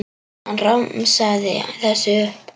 Hann romsaði þessu upp.